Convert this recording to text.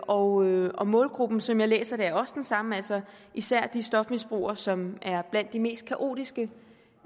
og og målgruppen som jeg læser det er også den samme altså især de stofmisbrugere som er blandt de mest kaotiske